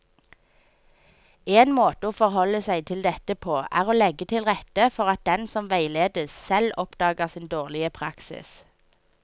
En måte å forholde seg til dette på er å legge til rette for at den som veiledes, selv oppdager sin dårlige praksis.